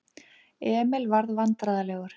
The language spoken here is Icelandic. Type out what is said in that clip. Emil varð vandræðalegur.